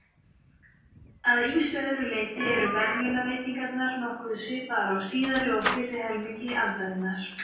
Að ýmsu öðru leyti eru verðlaunaveitingarnar nokkuð svipaðar á síðari og fyrri helmingi aldarinnar.